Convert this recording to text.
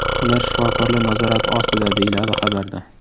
Ular shifokorlar nazorati ostida”, deyiladi xabarda.